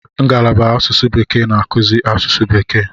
Ngalaba asụsụ bekee na-akụzi asụsụ bekee.